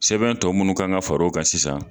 Sɛbɛn tɔ munnu kan ka far'o kan sisan